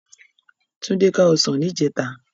Tunde ká òsán nijètá